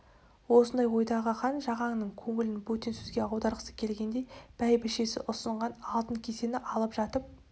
осындай ойдағы хан жағанның көңілін бөтен сөзге аударғысы келгендей бәйбішесі ұсынған алтын кесені алып жатып